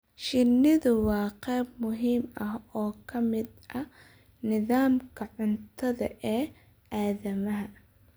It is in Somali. Shinnidu waa qayb muhiim ah oo ka mid ah nidaamka cuntada ee aadanaha.